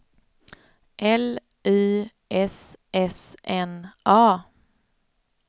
L Y S S N A